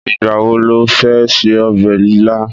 Ìgbà wo lo fẹ́ ṣe ọbẹ̀ ilá?